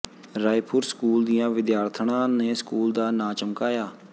Raipur school ਦੀਆਂ ਵਿਦਿਆਰਥਣਾਂ ਨੇ ਸਕੂਲ ਦਾ ਨਾਂ ਚਮਕਾਇਆ